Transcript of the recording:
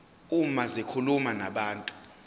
uma zikhuluma nabantu